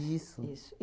Isso. Isso.